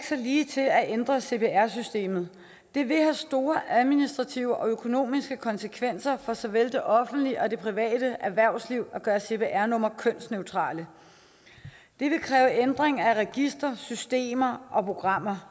så ligetil at ændre cpr systemet det vil have store administrative og økonomiske konsekvenser for såvel det offentlige og det private erhvervsliv at gøre cpr numre kønsneutrale det vil kræve ændring af registre systemer og programmer